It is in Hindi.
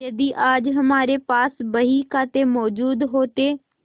यदि आज हमारे पास बहीखाते मौजूद होते